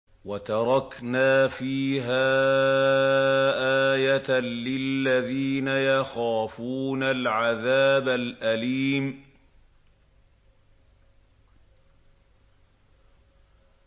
وَتَرَكْنَا فِيهَا آيَةً لِّلَّذِينَ يَخَافُونَ الْعَذَابَ الْأَلِيمَ